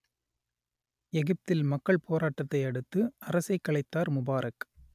எகிப்தில் மக்கள் போராட்டத்தை அடுத்து அரசைக் கலைத்தார் முபாரக்